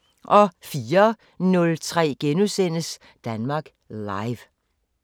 04:03: Danmark Live *